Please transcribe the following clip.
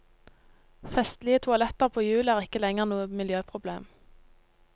Festlige toaletter på hjul er ikke lenger noe miljøproblem.